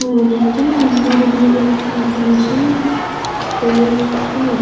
पानी के अंदर भी एक छोटा सा पेड़ है।